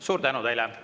Suur tänu teile!